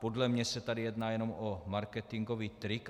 Podle mě se tady jedná jenom o marketingový trik.